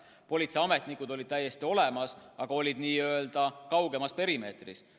Politseiametnikud olid täiesti olemas, aga nad olid n‑ö kaugemas perimeetris.